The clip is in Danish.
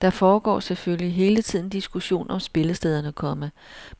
Der foregår selvfølgelig hele tiden diskussion om spillestederne, komma